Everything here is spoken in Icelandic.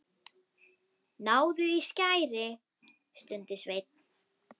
Náðu í skæri, stundi Sveinn.